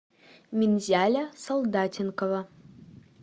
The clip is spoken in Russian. минзяля солдатенкова